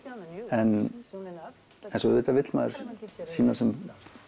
en svo auðvitað vill maður sýna sem